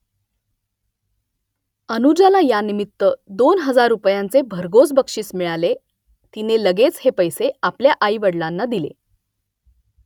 अनुजाला यानिमित्त दोन हजार रुपयांचे भरघोस बक्षीस मिळाले तिने लगेच हे पैसे आपल्या आईवडलांना दिले